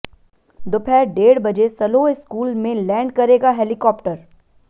दोपहर डेढ़ बजे सलोह स्कूल में लैंड करेगा हेलिकाप्टर